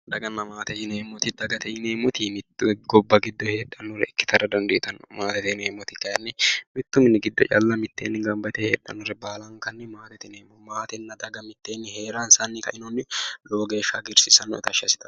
Daganna maate yineemmoti, dagate yineemmoti mitte gobba giddo heedhaare ikkitara dandiitanno. maatete yineemmoti kaayiinni mittu mini giddo calla mitteenni gamba yite heedhannore wo'mankanni maatete yineemmo. maatenna daga mitteenni heeransanni lowo geeshsha hagiirsiissanno tashshi assitanno.